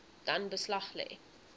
dan beslag lê